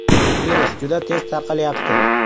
“Virus juda tez tarqalyapti.